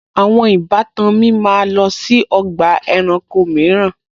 Àwọn ìbátan mi máa lọ sí ọgbà ẹranko mìíràn